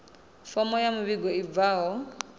fomo ya muvhigo i bvaho